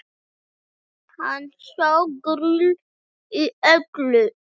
Hann sá grín í öllu